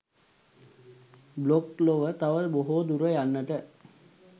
blog ලොව තව බොහෝ දුර යන්නට